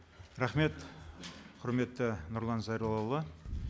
рахмет құрметті нұрлан зайроллаұлы